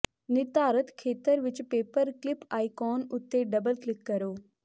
ਨਿਰਧਾਰਤ ਖੇਤਰ ਵਿੱਚ ਪੇਪਰ ਕਲਿਪ ਆਈਕੋਨ ਉੱਤੇ ਡਬਲ ਕਲਿਕ ਕਰੋ